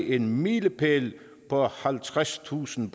en milepæl på halvtredstusind